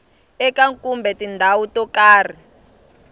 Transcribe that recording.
eka kumbe tindhawu to karhi